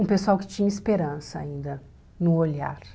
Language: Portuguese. Um pessoal que tinha esperança ainda, no olhar.